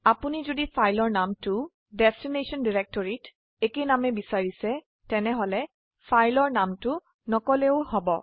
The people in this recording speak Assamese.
আপনি যদি গন্তব্য ডিৰেক্টৰিৰ মধ্যে ফাইলটিৰ একই নাম ৰাখতে চান তাহলে আপনি ফাইল ৰ নাম না উল্লেখ কৰিব পাৰে